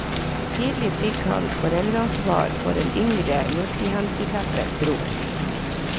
Tidlig fikk han foreldreansvar for en yngre multihandicappet bror.